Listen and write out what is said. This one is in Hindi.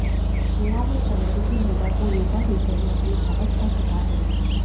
गोवा में एक अमेरिकी महिला को योगा टीचर ने अपनी हवस का शिकार बनाया